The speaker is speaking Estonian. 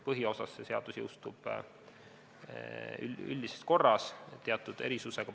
Põhiosas see seadus jõustub üldises korras, teatud erisusega.